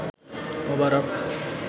মোবারক